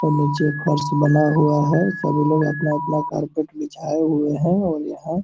और नीचे फ़र्श बना हुआ है सभी लोग अपना-अपना कारपेट बिछाए हुए है और यहाँ --